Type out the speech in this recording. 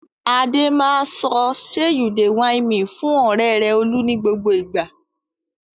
Adé máa sọ "ṣe you dey whine me" fún ọ̀rẹ́ rẹ̀ Olú ní gbogbo ìgbà.